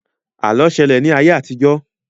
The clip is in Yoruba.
Àlọ́ ṣẹlẹ̀ ní ayé àtijọ́